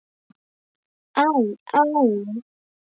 Æ. æ.